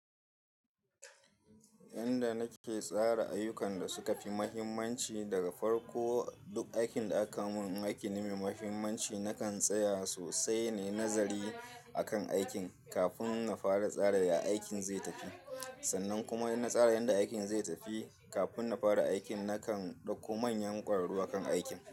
Inda nake tsara ayyukan da suka fi mahimmanci daga farko, duk aikin da aka mun in aiki ne mai mahimmanci, nakan tsaya sosai nai nazari akan aikin kafin na fara tsara ya aikin zai tafi. Sannan kuma in na tsara yadda aikin zai tafi kafin na fara aikin, nakan dauko manyan kwararru akan aikin.